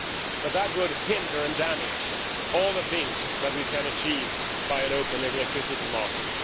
But that would hinder and damage all the things that we can achieve by an open electricity market.